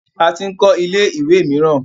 A tin kọ́ ilé ìwẹ̀ miran